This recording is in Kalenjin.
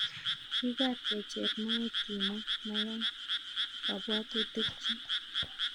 Kibwat kecher moet, kimwa, mayan kabwatutik chik.